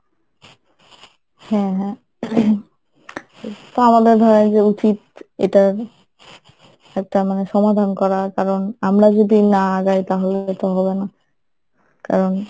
হ্যাঁ হ্যাঁ ing তো আমাদের ধরেন যে উচিত এটার একটা মানে সমাধান করা কারণ আমরা যদি না আগেই তাহলে তো হবে না কারণ